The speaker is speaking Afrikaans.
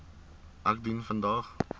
ek dien vandag